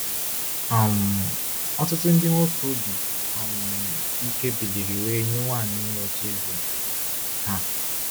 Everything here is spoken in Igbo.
um Ọtụtụ ndị nwoke obi um ike biliri wee nye nwanyị “ime” ocheeze ha.